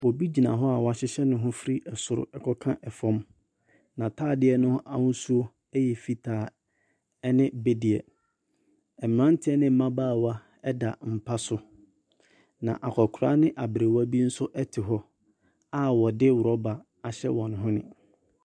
Obi gyina hɔ a wɔahyehyɛ ne ho firi ɛsoro kɔka fam. Na ataadeɛ no ahosuo yɛ fitaa ne bebdeɛ. Abranteɛ ne mmabaa ɛda mpa so. Na akwakora ne aberewa bi nso te a wɔde rubber ahyɛ wɔn hwene.